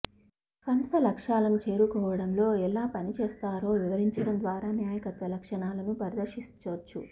సంస్థ లక్ష్యాలను చేరుకోవడంలో ఎలా పనిచేస్తారో వివరించడం ద్వారా నాయకత్వ లక్షణాలను ప్రదర్శించొచ్చు